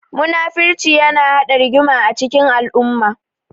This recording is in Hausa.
Muna-furci yana haɗa rigima a cikin al'umma.